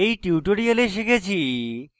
in tutorial শিখেছি: